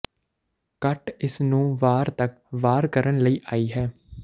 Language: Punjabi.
ਘੱਟ ਇਸ ਨੂੰ ਵਾਰ ਤੱਕ ਵਾਰ ਕਰਨ ਲਈ ਆਈ ਹੈ